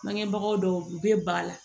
Bangebagaw dɔw u bɛ ba la